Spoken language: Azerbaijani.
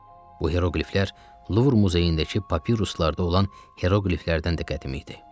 Bu heroqliflər Luvr muzeyindəki papiruslarda olan heroqliflərdən də qədim idi.